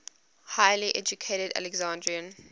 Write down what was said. highly educated alexandrian